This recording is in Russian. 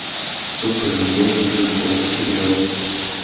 сука любовь джукбокс трио